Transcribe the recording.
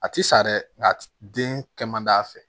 A ti sa dɛ nga den kɛ man d'a fɛ